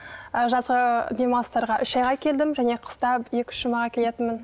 ы жазғы демалыстарға үш айға келдім және қыста екі үш жұмаға келетінмін